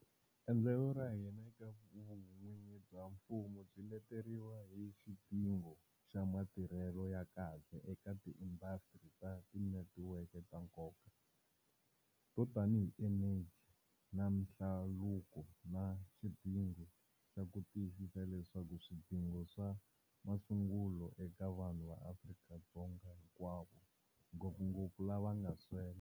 Endlelo ra hina eka vun'wini bya mfumo byi leteriwa hi xidingo xa matirhelo ya kahle eka tiindasitiri ta tinetiweke ta nkoka, to tanihi eneji na mihlaluko, na xidingo xa ku tiyisisa leswaku swidingo swa masungulo eka vanhu va Afrika-Dzonga hinkwavo, ngopfungopfu lava nga swela.